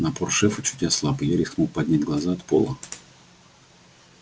напор шефа чуть ослаб и я рискнул поднять глаза от пола